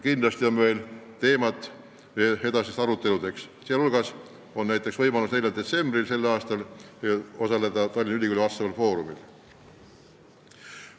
Kindlasti on meil teemasid ka edasisteks aruteludeks ja näiteks 4. detsembril saab osaleda Tallinna Ülikooli selleteemalisel foorumil.